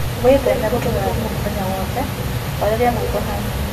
Wĩtheme gũtũmĩra thĩmũ mũthenya wothe, horerĩa maĩtho hanĩnĩ